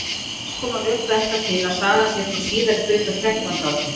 margs konar rök benda til að sagan sé frá síðari hluta þrettándu aldar